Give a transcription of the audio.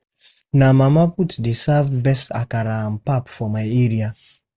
Na Mama Put joint dey serve best akara and pap for my area.